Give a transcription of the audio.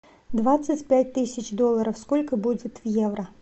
двадцать пять тысяч долларов сколько будет в евро